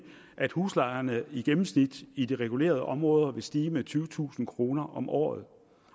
at huslejerne i gennemsnit i de regulerede områder vil stige med tyvetusind kroner om året